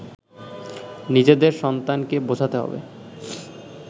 নিজেদের সন্তানকে বোঝাতে হবে